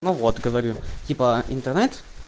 ну вот говорю типа интернет